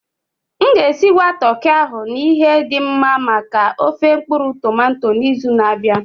M ga-esigwa toki ahụ na ihe dị mma maka ofé mkpuru-tomato n'izu na-abịa.